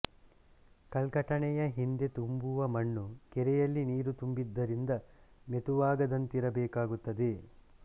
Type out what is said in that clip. ಕಲ್ಕಟಣೆಯ ಹಿಂದೆ ತುಂಬುವ ಮಣ್ಣು ಕೆರೆಯಲ್ಲಿ ನೀರು ತುಂಬಿದ್ದರಿಂದ ಮೆತುವಾಗದಂತಿರಬೇಕಾಗುತ್ತದೆ